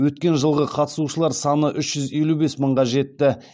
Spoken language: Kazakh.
өткен жылғы қатысушылар саны үш жүз елу бес мыңға жетті